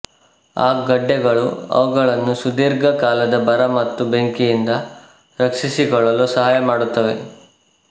ಆ ಗಡ್ಡೆಗಳು ಅವುಗಳನ್ನು ಸುದೀರ್ಘ ಕಾಲದ ಬರ ಮತ್ತು ಬೆಂಕಿಯಿಂದ ರಕ್ಷಿಸಿಕೊಳ್ಳಲು ಸಹಾಯ ಮಾಡುತ್ತವೆ